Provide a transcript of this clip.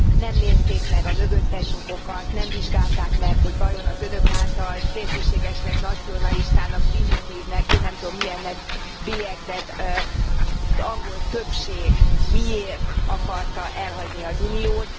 Nem nézték meg a mögöttes okokat, nem vizsgálták meg, hogy vajon az Önök által szélsőségesnek, nacionalistának, primitívnek, én nem tudom, milyennek bélyegzett angol többség miért akarta elhagyni az Uniót.